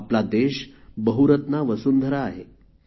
आपला देश बहुरत्ना वसुंधरा आहे